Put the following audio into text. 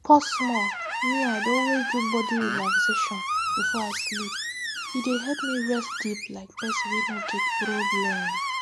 pause smallme i dey always do body relaxation before i sleep e dey help me rest deep like person wey no get problem